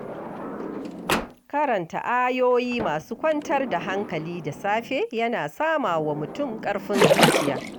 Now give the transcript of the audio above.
Karanta ayoyi masu kwantar da hankali da safe yana sama wa mutum ƙarfin zuciya.